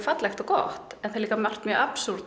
fallegt og gott en margt